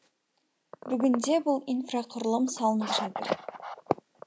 бүгінде бұл инфрақұрылым салынып жатыр